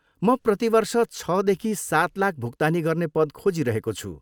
म प्रतिवर्ष छदेखि सात लाख भुक्तानी गर्ने पद खोजी रहेको छु।